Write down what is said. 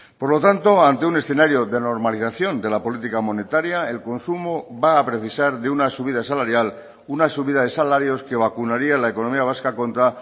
por lo tanto ante un escenario de normalización de la política monetaria el consumo va a precisar de una subida salarial una subida de salarios que vacunaría la economía vasca contra